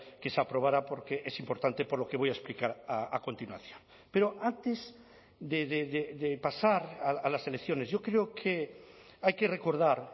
que se aprobara porque es importante por lo que voy a explicar a continuación pero antes de pasar a las elecciones yo creo que hay que recordar